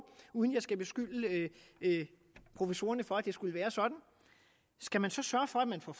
uden at jeg skal beskylde professorerne for at det skulle være sådan skal man så sørge for at man får